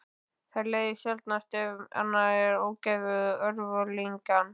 Það leiðir sjaldnast af sér annað en ógæfu og örvinglan.